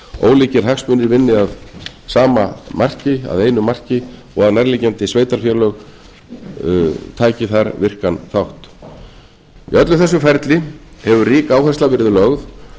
ólíkir hagsmunir vinni að sama marki að einu marki og að nærliggjandi sveitarfélög taki þar virkan þátt í öllu þessu ferli hefur rík áhersla verið lögð